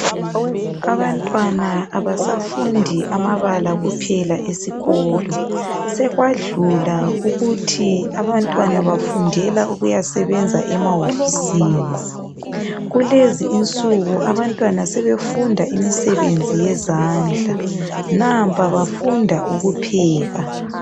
Abantwana abasafundi amabala kuphela esikolo sekwadlula ukuthi abantwana bafundela ukuyasebenza emahofisini. Kulezi insuku abantwana sebefunda imisebenzi yezandla, nampa bafunda ukupheka.